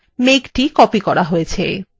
মেঘটি copied করা হয়েছে